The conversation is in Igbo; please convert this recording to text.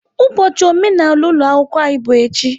Ụbọchị omenala ụlọ akwụkwọ anyị bụ echi.